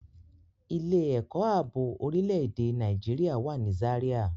Ilé-ẹ̀kọ́ ààbò orílẹ̀-èdè Nàìjíríà wà ní Zaria.